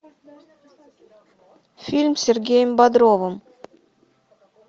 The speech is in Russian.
фильм с сергеем бодровым